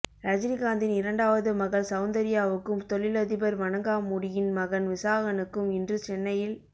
ரஜினிகாந்தின் இரண்டாவது மகள் செளந்தர்யாவுக்கும் தொழில் அதிபர் வணங்காமுடியின் மகன் விசாகனுக்கும் இன்று சென்னையில்